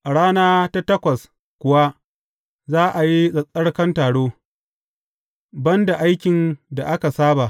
A rana ta takwas kuwa za a yi tsattsarkan taro, ban da aikin da aka saba.